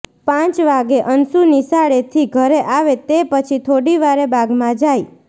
પાંચ વાગે અંશુ નિશાળેથી ઘરે આવે તે પછી થોડીવારે બાગમાં જાય